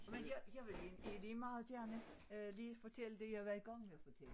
Men jeg jeg vil egentlig lige meget gerne lige fortælle det jeg var i gang med at fortælle